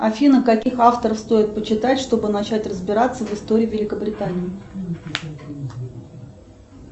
афина каких авторов стоит почитать чтобы начать разбираться в истории великобритании